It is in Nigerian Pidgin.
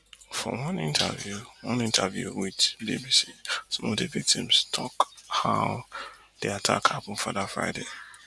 for one interview one interview wit bbc some of di victims tok how di attack happun for dat friday